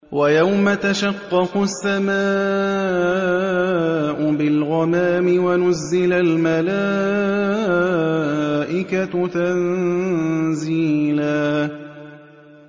وَيَوْمَ تَشَقَّقُ السَّمَاءُ بِالْغَمَامِ وَنُزِّلَ الْمَلَائِكَةُ تَنزِيلًا